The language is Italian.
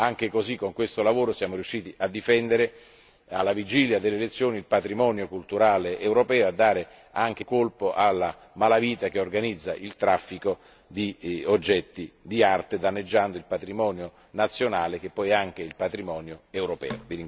Anche in quest'occasione siamo riusciti a difendere, alla vigilia delle elezioni europee, il patrimonio culturale europeo e a dare un colpo alla malavita che organizza il traffico di oggetti d'arte danneggiando il patrimonio nazionale che è poi anche il patrimonio europeo.